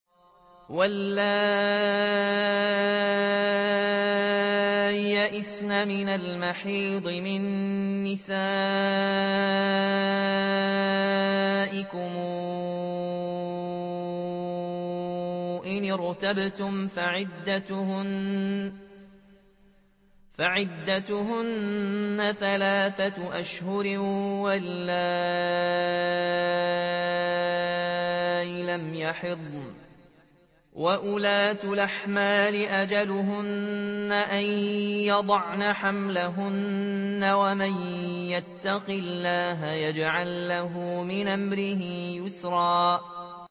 وَاللَّائِي يَئِسْنَ مِنَ الْمَحِيضِ مِن نِّسَائِكُمْ إِنِ ارْتَبْتُمْ فَعِدَّتُهُنَّ ثَلَاثَةُ أَشْهُرٍ وَاللَّائِي لَمْ يَحِضْنَ ۚ وَأُولَاتُ الْأَحْمَالِ أَجَلُهُنَّ أَن يَضَعْنَ حَمْلَهُنَّ ۚ وَمَن يَتَّقِ اللَّهَ يَجْعَل لَّهُ مِنْ أَمْرِهِ يُسْرًا